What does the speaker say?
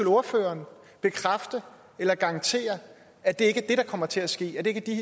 ordføreren garantere at det ikke er det der kommer til at ske at det ikke er